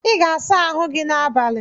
I ga-asa ahụ gi n’abalị